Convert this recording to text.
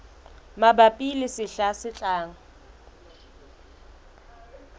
mabapi le sehla se tlang